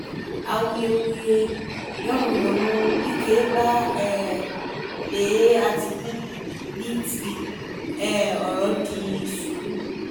awuyewuye yanmuyanmu wike bá um lé àtìkù ní tibi um ọ̀rọ̀ di sùúrù